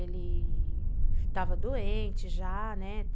Ele estava doente já, né?